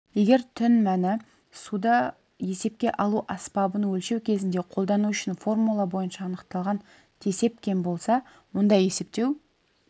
егер түн мәні суды есепке алу аспабын өлшеу кезінде қолдану үшін формула бойынша анықталған тесеп кем болса онда есептеу